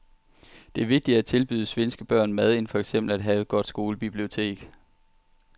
Det er vigtigere at tilbyde svenske børn mad end for eksempel at have et godt skolebibliotek.